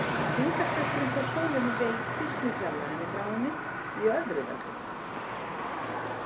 Þyngdarkrafturinn frá sólinni veikist með fjarlægðinni frá henni í öðru veldi.